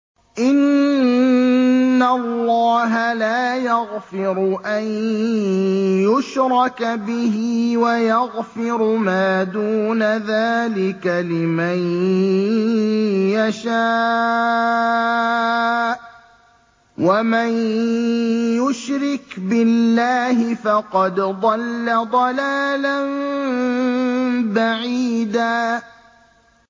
إِنَّ اللَّهَ لَا يَغْفِرُ أَن يُشْرَكَ بِهِ وَيَغْفِرُ مَا دُونَ ذَٰلِكَ لِمَن يَشَاءُ ۚ وَمَن يُشْرِكْ بِاللَّهِ فَقَدْ ضَلَّ ضَلَالًا بَعِيدًا